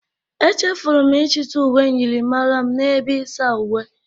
Echefuru m ịchịta uwe myịrịmara m n'ebe isa uwe.